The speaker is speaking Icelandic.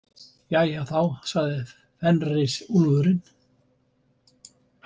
Jæja þá, sagði Fenrisúlfurinn.